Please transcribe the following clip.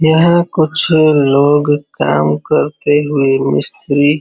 यहाँ कुछ लोग काम करते है मिस्त्री --